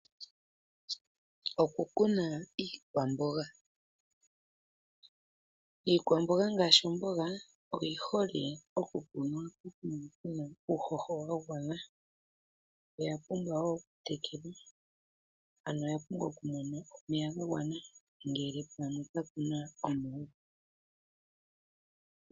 Oku kuna iikwamboga, iikwamboga ngaashi omboga oyi hole oku kunwa pokuma puna uuhoho wa gwana oya pumbwa wo oku tekelwa ano oya pumbwa oku mona omeya ga gwana ngele pamwe kapuna omeya.